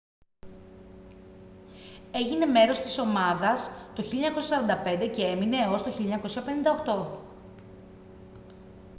έγινε μέρος της ομάδα το 1945 και έμεινε έως το 1958